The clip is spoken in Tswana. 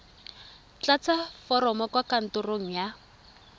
tlatsa foromo kwa kantorong ya